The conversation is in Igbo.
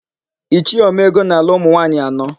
Ichie Omeọgọ na-alụ ụmụnwaanyị anọ.